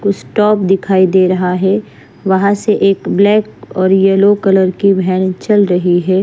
कुछ टॉप दिखाई दे रहा है वहां से एक ब्लैक और येलो कलर की व्हॅन चल रही है।